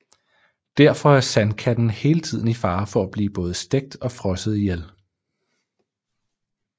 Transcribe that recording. Derfor er Sandkatten hele tiden i fare for at blive både stegt og frosset ihjel